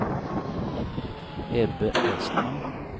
Ebbe Westman